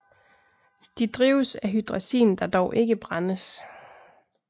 De drives af hydrazin der dog ikke brændes